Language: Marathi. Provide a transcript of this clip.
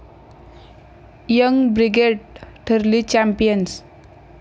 यंग ब्रिगेड ठरली चॅम्पियन्स